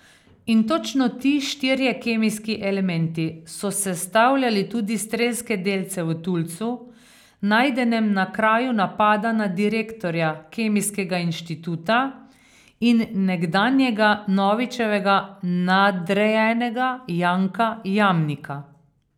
In točno ti štirje kemijski elementi so sestavljali tudi strelske delce v tulcu, najdenem na kraju napada na direktorja Kemijskega inštituta in nekdanjega Novičevega nadrejenega Janka Jamnika.